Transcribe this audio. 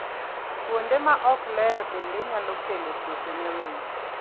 Kuonde ma ok ler bende nyalo kelo tuoche ne winy.